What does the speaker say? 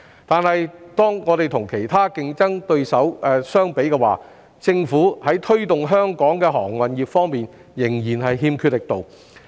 但是，如果我們與其他競爭對手相比，政府在推動香港的航運業方面仍然欠缺力度。